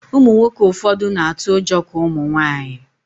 Ụmụnwoke ụfọdụ na-atụ ụjọ ka Ụmụnwaanyị